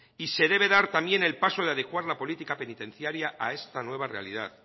y se debe dar también el paso de adecuar la política penitenciaria a esta nueva realidad